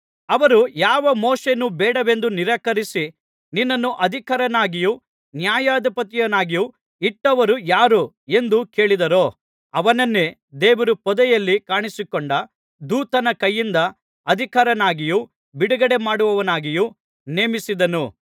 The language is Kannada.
ಅವರು ಯಾವ ಮೋಶೆಯನ್ನು ಬೇಡವೆಂದು ನಿರಾಕರಿಸಿ ನಿನ್ನನ್ನು ಅಧಿಕಾರಿಯನ್ನಾಗಿಯೂ ನ್ಯಾಯಾಧಿಪತಿಯನ್ನಾಗಿಯೂ ಇಟ್ಟವರು ಯಾರು ಎಂದು ಕೇಳಿದರೋ ಅವನನ್ನೇ ದೇವರು ಪೊದೆಯಲ್ಲಿ ಕಾಣಿಸಿಕೊಂಡ ದೂತನ ಕೈಯಿಂದ ಅಧಿಕಾರಿಯನ್ನಾಗಿಯೂ ಬಿಡುಗಡೆಮಾಡುವವನನ್ನಾಗಿಯೂ ನೇಮಿಸಿದನು